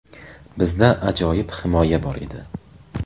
Bizda ajoyib himoya bor edi.